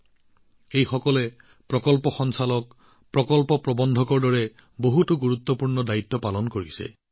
তেওঁলোক বিভিন্ন ব্যৱস্থাৰ প্ৰকল্প সঞ্চালক প্ৰকল্প প্ৰৱন্ধক আদি বহু গুৰুত্বপূৰ্ণ দায়িত্ব চম্ভালিছে